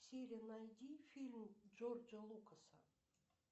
сири найди фильм джорджа лукаса